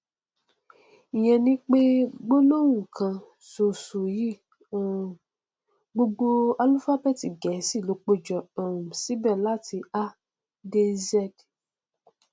ìyẹn ni pé nínú gbólóhùn kan ṣoṣo yìí um gbogbo álúfábẹẹtì gẹẹsì ló péjọ um síbẹ láti a dé z